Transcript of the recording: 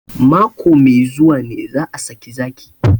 Mako mai zuwa ne za a saki zaki